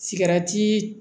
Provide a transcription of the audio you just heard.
Sigɛrɛti